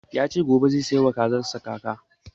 Ya ce gobe zai saya wa kakar sa kaza